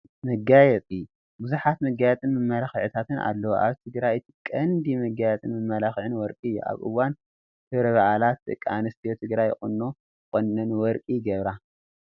መጋየፂ፡- ብዙሓት መጋየፅን መመላኽዕታትን ኣለው፡፡ ኣብ ትግራይ እቲ ቀንዲ መጋየፅን መመላኽዕን ወርቂ እዩ፡፡ ኣብ እዋን ክብረ ባዓላት ደቂ ኣነስትዮ ትግራይ ቁኖ ተቆኒነን ወርቂ ይገብራ፡፡